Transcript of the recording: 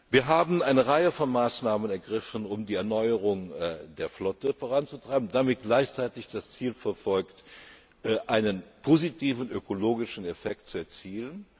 Wir haben eine Reihe von Maßnahmen ergriffen, um die Erneuerung der Flotte voranzutreiben, und damit gleichzeitig das Ziel verfolgt, einen positiven ökologischen Effekt zu erzielen.